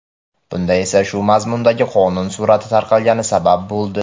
Bunga esa shu mazmundagi qonun surati tarqalgani sabab bo‘ldi.